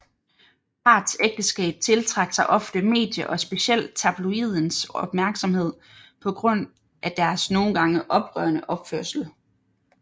Parets ægteskab tiltrak sig ofte medie og specielt tabloidens opmærksomhed på grund af deres nogen gange oprørende opførsel